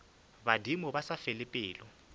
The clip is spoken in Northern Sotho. badimo ba sa fele pelo